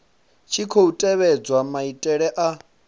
tshi khou tevhedzwa maitele a